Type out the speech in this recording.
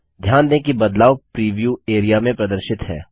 ध्यान दें कि बदलाव प्रीव्यू एरिया में प्रदर्शित है